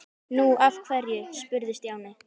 Nú, af hverju? spurði Stjáni.